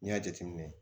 N'i y'a jateminɛ